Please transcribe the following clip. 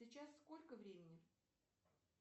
сейчас сколько времени